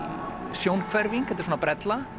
sjónhverfing þetta er brella